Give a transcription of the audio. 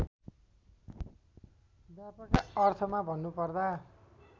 व्यापक अर्थमा भन्नुपर्दा